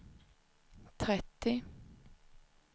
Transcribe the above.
trettio